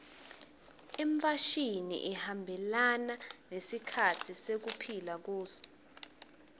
imfashini ihambelana nesikhatsi lesiphila kuso